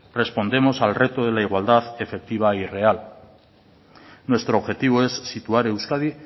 respondemos al reto de la igualdad efectiva y real nuestro objetivo es situar a euskadi